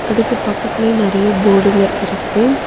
அதுக்கு பக்கத்துலயே நறைய போர்டுங்க இருக்கு.